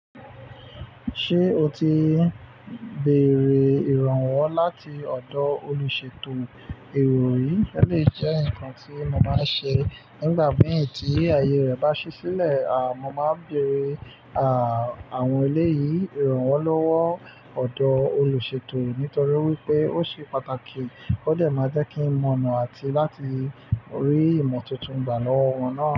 Ṣé o ti bèèrè ìrànwọ́ láti ọ̀dọ̀ olùṣètò erò ri? Ó lè jẹ́ ǹkan tí mo báa ṣe nígbà mìí tí ayé rẹ̀ bá ṣi sílẹ̀. A mo máa ń bèèrè, à, àwọn eléyìí ìrànwọ́ lọ́wọ́ ọ̀dọ́ olùṣètò nítorí wípé ó ṣe pàtàkì ó dẹ̀ máa jẹ́ kí n mọ̀ onà àti láti rí ìmọ̀ tuntun gbà lọ́wọ́ wọn náà.